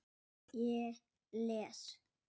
Ég les.